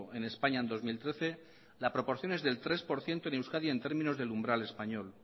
en españa en dos mil trece la proporción es del tres por ciento en euskadi en términos del umbral español